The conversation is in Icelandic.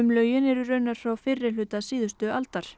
lögin eru raunar frá fyrri hluta síðustu aldar